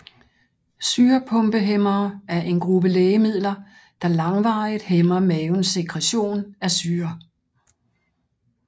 Syrepumpehæmmere er en gruppe lægemidler der langvarigt hæmmer mavens sekretion af syre